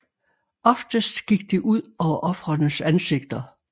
Oftest gik det ud over ofrenes ansigter